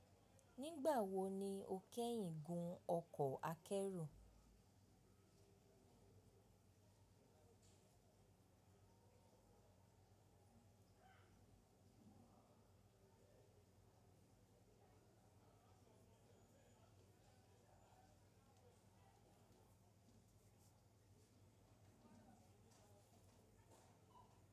Nígbà wo ni ó kẹ́yìn gun ọkọ̀ akẹ́rù?